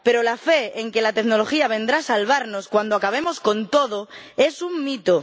Pero la fe en que la tecnología vendrá a salvarnos cuando acabemos con todo es un mito.